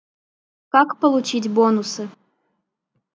как получить бонусы